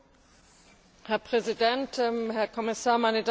Herr Präsident, Herr Kommissar, meine Damen und Herren!